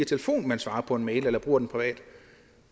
telefonen man svarer på en mail eller man bruger den privat